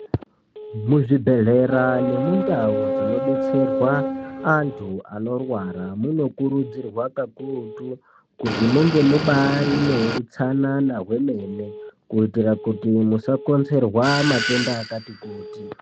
Muzvibhedhleya nemundau dzinodetserwa antu anorwara munokurudzirwa kakurutu kuti munge mune utsanana hwemene kuitira kuti musakonzerwa matenda akati kuti.